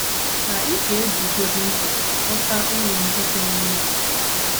Ma, ị ga - ebugodị ụzọ ghọta uru ndị dị n’ime otú ahụ.